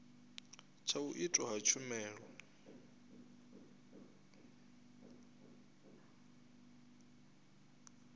tsha u itwa ha tshumelo